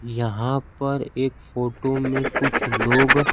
यहां पर एक फोटो में कुछ लोग--